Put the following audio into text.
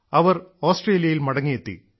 അവർ ഓസ്ട്രേലിയയിൽ മടങ്ങിയെത്തി